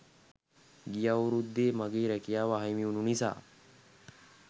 ගිය අවුරුද්දේ මගේ රැකියාව අහිමි වුනු නිසා